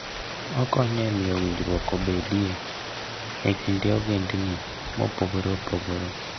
Okonyo e miyo winjruok obedie e kind ogendini mopogore opogore.